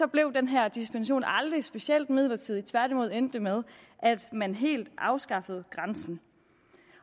blev den her dispensation aldrig specielt midlertidig tværtimod endte det med at man helt afskaffede grænsen